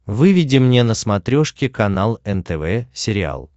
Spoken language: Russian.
выведи мне на смотрешке канал нтв сериал